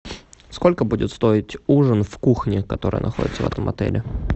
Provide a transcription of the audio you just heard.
сколько будет стоить ужин в кухне которая находится в этом отеле